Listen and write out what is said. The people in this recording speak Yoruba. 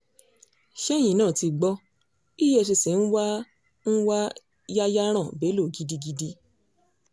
ṣẹ́yìn náà tí gbọ́ efcc ń wá ń wá yayaran bello gidigidi